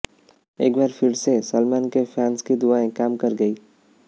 एक बार फिर से सलमान के फैन्स की दुआएं काम कर गयीं